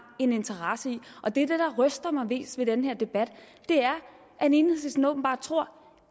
en interesse i og det der ryster mig mest ved den her debat er at enhedslisten åbenbart tror